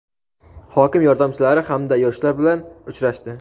hokim yordamchilari hamda yoshlar bilan uchrashdi.